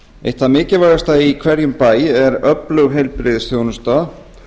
eitt það mikilvægasta í hverjum bæ er öflug heilbrigðisþjónusta